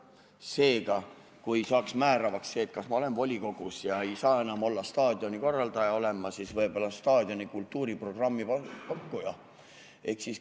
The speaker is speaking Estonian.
Seega, kui määravaks saab see, et kui ma olen volikogus, siis ma ei saa enam olla staadionikorraldaja, sel juhul ma olen võib-olla staadioni kultuuriprogrammi pakkuja.